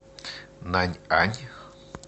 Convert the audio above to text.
наньань